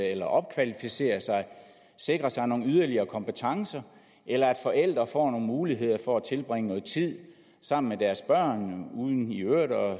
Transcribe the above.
eller opkvalificere sig sikre sig nogle yderligere kompetencer eller at forældre får nogle muligheder for at tilbringe noget tid sammen med deres børn uden i øvrigt at